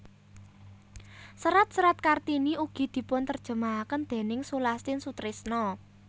Serat serat Kartini ugi dipunterjemahaken déning Sulastin Sutrisno